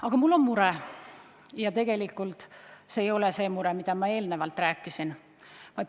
Aga mul on teinegi mure, mitte ainult see, millest ma just rääkisin.